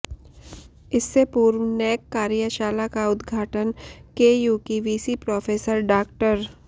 इससे पूर्व नैक कार्यशाला का उद्घाटन केयू की वीसी प्रोफेसर डॉ